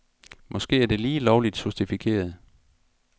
Måske er det lige lovligt sofistikeret.